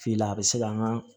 Fi la a bɛ se ka an ŋaa